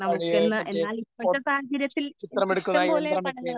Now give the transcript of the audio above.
പഴയ മറ്റേ പോപ് ചിത്രം എടുക്കുന്ന ആ യന്ത്രമൊക്കെ